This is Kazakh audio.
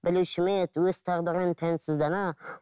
білуші ме еді өз тағдырын тәнсіз дана